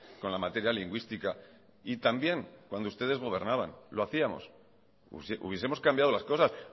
con la materia lingüística y también cuando ustedes gobernaban lo hacíamos hubiesemos cambiado las cosas